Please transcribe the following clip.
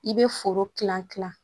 I bɛ foro kilan kilan